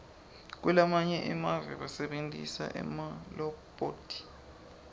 kulamanye emave basebentisa emalobhothi